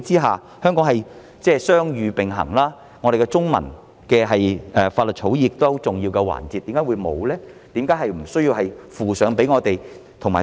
香港是雙語並行的，我們的中文法律草擬是很重要的環節；在這樣的背景之下，為何會沒有呢？